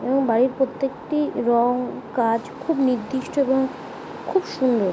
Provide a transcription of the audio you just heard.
এবং বাড়ির প্রত্যেকটি রং কাজ খুব নির্দিষ্ট এবং খুব সুন্দর।